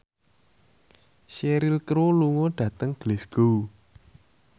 Cheryl Crow lunga dhateng Glasgow